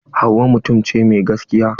Hauwa mutum ce mai gaskiya.